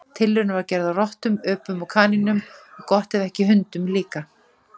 Tilraun var gerð á rottum, öpum og kanínum og gott ef ekki hundum líka.